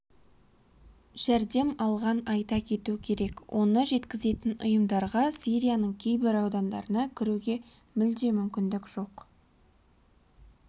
жәрдем алған айта кету керек оны жеткізетін ұйымдарға сирияның кейбір аудандарына кіруге мүлде мүмкіндік жоқ